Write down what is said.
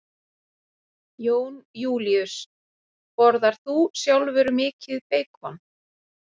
Jón Júlíus: Borðar þú sjálfur mikið beikon?